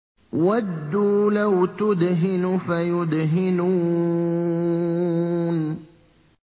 وَدُّوا لَوْ تُدْهِنُ فَيُدْهِنُونَ